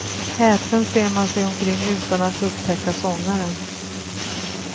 Häpen ser man sig omkring utan att upptäcka sångaren.